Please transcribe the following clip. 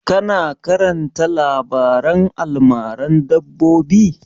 Ka na karanta labaren almaran dabbobi?